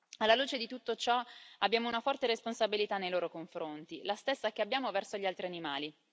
Alla luce di tutto ciò, abbiamo una forte responsabilità nei loro confronti, la stessa che abbiamo verso gli altri animali.